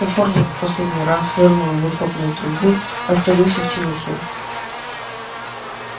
но фордик последний раз фыркнув выхлопной трубой растворился в темноте